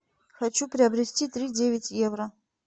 хочу приобрести три девять евро